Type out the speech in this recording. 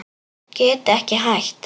Get ekki hætt.